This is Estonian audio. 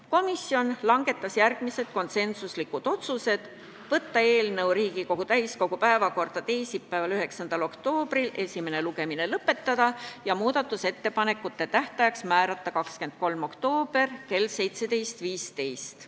Komisjon langetas järgmised konsensuslikud otsused: võtta eelnõu Riigikogu täiskogu päevakorda teisipäevaks, 9. oktoobriks, esimene lugemine lõpetada ja muudatusettepanekute tähtajaks määrata 23. oktoober kell 17.15.